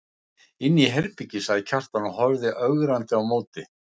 Inni í herbergi, sagði Kjartan og horfði ögrandi á móti.